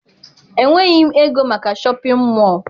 Enweghị m ego maka shọpịn mọọ